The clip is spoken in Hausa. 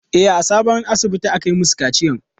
E, a sabon asibitin aka yi masu kaciyan.